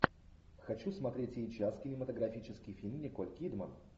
хочу смотреть сейчас кинематографический фильм николь кидман